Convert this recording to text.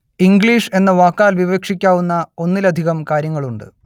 English എന്ന വാക്കാൽ വിവക്ഷിക്കാവുന്ന ഒന്നിലധികം കാര്യങ്ങളുണ്ട്